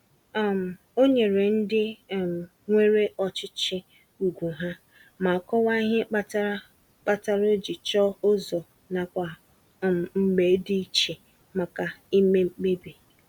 um O nyere ndị um nwere ọchịchị ugwu ha, ma kọwaa ihe kpatara kpatara o ji chọọ ụzọ nakwa um mbge dị iche maka ime mkpebi.